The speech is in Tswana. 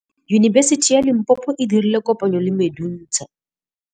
Yunibesiti ya Limpopo e dirile kopanyô le MEDUNSA.